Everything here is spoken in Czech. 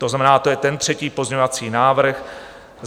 To znamená, to je ten třetí pozměňovací návrh.